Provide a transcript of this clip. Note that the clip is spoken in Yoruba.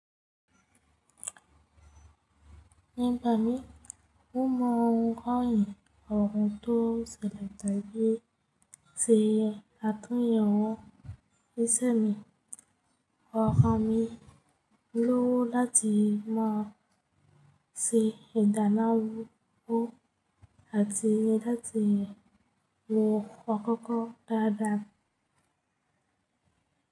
Nígbà mí mo móhùn rán yẹn ọrùn tó ṣẹlẹ̀ tàbí sèyẹ, àtún yẹn wọn níṣẹ́ mi. Ọrùn mí lówó láti mọ̀ ṣe ìdáná wò àti láti wo ọkọ́kọ́ dáadáa.